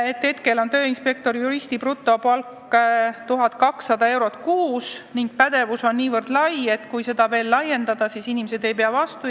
Praegu on tööinspektor-juristi brutopalk 1200 eurot kuus ning nõutav pädevus on nii lai, et kui seda veel laiendada, siis inimesed ei pea vastu.